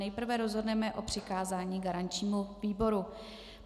Nejprve rozhodneme o přikázání garančnímu výboru.